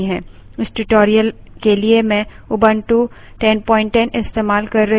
इस tutorial के लिए मैं उबंटू 1010 इस्तेमाल कर रही हूँ